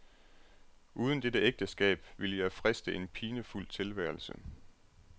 Uden dette ægteskab ville jeg friste en pinefuld tilværelse.